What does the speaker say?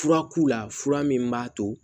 Fura k'u la fura min b'a to